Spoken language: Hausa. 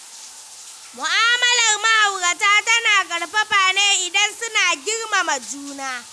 Mu'amalar ma'aurata tana ƙarfafa ne idan suna girmama juna.